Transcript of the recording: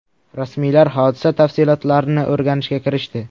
Rasmiylar hodisa tafsilotlarini o‘rganishga kirishdi.